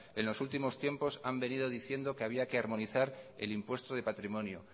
en los últimos tiempos han venido diciendo que había que armonizar el impuesto de patrimonio